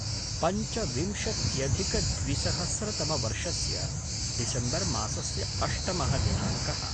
पञ्चविंशत्यधिकद्विसहस्रतमवर्षस्य डिसम्बर् मासस्य अष्टमः दिनाङ्कः